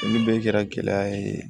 Olu bɛɛ kɛra gɛlɛya ye